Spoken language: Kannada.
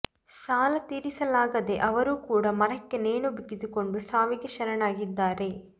ಸಾಲ ತೀರಿಸಲಾಗದೇ ಅವರು ಕೂಡ ಮರಕ್ಕೆ ನೇಣು ಬಿಗಿದುಕೊಂಡು ಸಾವಿಗೆ ಶರಣಾಗಿದ್ದಾರೆ